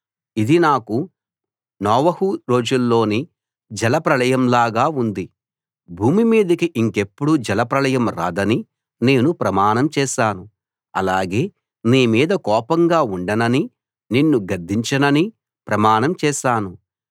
ఇది నాకు నోవహు రోజుల్లోని జలప్రళయంలాగా ఉంది భూమి మీదికి ఇంకెప్పుడూ జలప్రళయం రాదని నేను ప్రమాణం చేశాను అలాగే నీ మీద కోపంగా ఉండననీ నిన్ను గద్దించననీ ప్రమాణం చేశాను